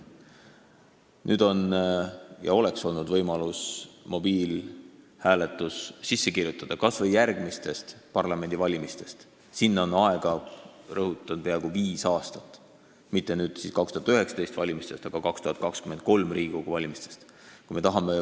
Nüüd oleks olnud võimalus mobiiliga hääletamine seadusesse kirjutada kas või alates järgmistest parlamendivalimistest – sinna on aega, rõhutan, peaaegu viis aastat –, mitte alates 2019. aasta, vaid 2023. aasta Riigikogu valimistest.